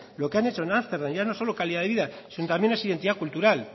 lo que han hecho en ámsterdam ya no solo calidad de vida sino también es identidad cultural